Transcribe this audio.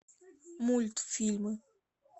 мультфильм